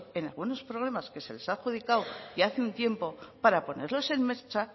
en algunos programas que se les ha adjudicado ya hace un tiempo para ponerlos en marcha